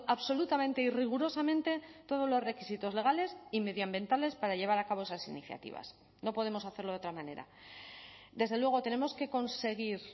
absolutamente y rigurosamente todos los requisitos legales y medioambientales para llevar a cabo esas iniciativas no podemos hacerlo de otra manera desde luego tenemos que conseguir